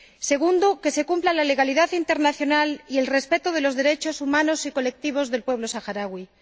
segundo, que se cumplan la legalidad internacional y el respeto de los derechos humanos y colectivos del pueblo saharaui.